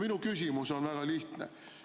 " Minu küsimus on väga lihtne.